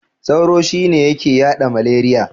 Sauro shine yake yaɗa maleriya.